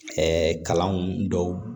kalanw dɔw